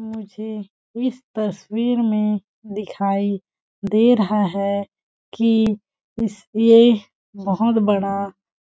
मुझे इस तस्वीर में दिखाई दे रहा है की इस ये बहोत बड़ा